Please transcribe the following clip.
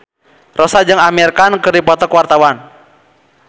Rossa jeung Amir Khan keur dipoto ku wartawan